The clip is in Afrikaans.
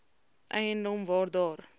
eiendom waar daar